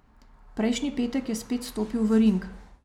Prejšnji petek je spet stopil v ring.